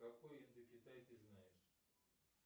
какой индокитай ты знаешь